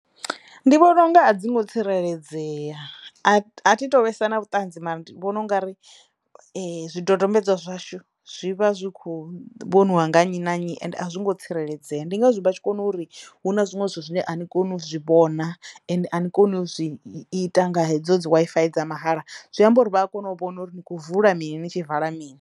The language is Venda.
Ndi vhona unga a dzi ngo tsireledzeya a a thi to vhesa na vhuṱanzi mara ndi vhona ungari zwidodombedzwa zwashu zwi vha zwi kho vhoniwa nga nnyi na nnyi ende a zwi ngo tsireledzeya ndi ngazwo vha tshi kona uri hu na zwiṅwe zwithu zwine a zwi koni u zwi vhona ende a ni koni u zwi ita nga hedzo dzi Wi-Fi dza mahala zwi amba uri vha a kona u vhona uri ni kho vula mini ni tshi vala mini.